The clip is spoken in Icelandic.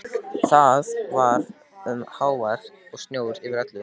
Það var um hávetur og snjór yfir öllu.